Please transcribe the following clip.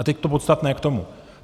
A teď to podstatné k tomu.